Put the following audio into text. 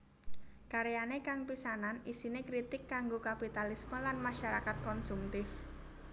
Karyane kang pisanan isine kritik kanggo kapitalisme lan masyarakat konsumtif